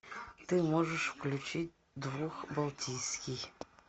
ты можешь включить дух балтийский